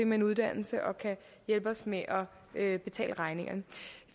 med en uddannelse og kan hjælpe os med at betale regningerne